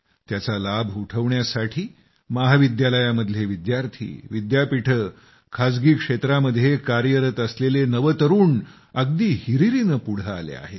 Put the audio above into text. त्याचा लाभ उठवण्यासाठी महाविद्यालयांतले विद्यार्थी विद्यापीठ खाजगी क्षेत्रामध्ये कार्यरत असलेलं नवतरूण अगदी हिरीरीनं पुढं आले आहेत